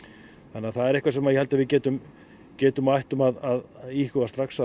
þannig að það er eitthvað sem ég held að við getum getum og ættum að íhuga strax